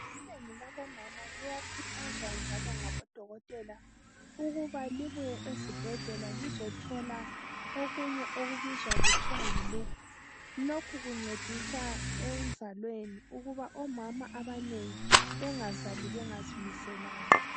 Inengi labomama liyakhuthazwa njalo ngabodokotela, ukuba libuye ezibhedlela lizethola okunye okuthiwa yiluphu. Lokhu kuncedisa enzalweni, ukuba omama abanengi bangazali bengazimiselanga.